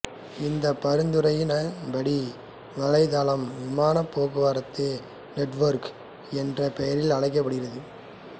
இந்த பரிந்துரையின் படி வலைதளம் விமானப் போக்குவரத்து நெட்வொர்க் என்ற பெயரில் அழைக்கப்படுகிறது